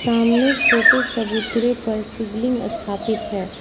सामने छोटे चबूतरे पर शिवलिंग स्थापित है।